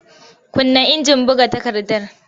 Kunna injin buga takardar!